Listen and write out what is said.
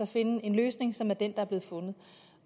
finde en løsning som er den der er blevet fundet